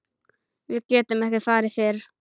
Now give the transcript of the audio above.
Við getum ekki farið fyrr.